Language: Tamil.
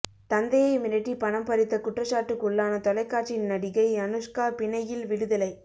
தந்தையை மிரட்டி பணம் பறித்த குற்றச்சாட்டுக்குள்ளான தொலைக்காட்சி நடிகை அனுஷ்கா பிணையில் விடுதலை